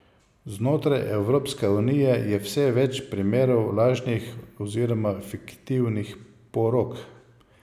Znotraj Evropske unije je vse več primerov lažnih oziroma fiktivnih porok.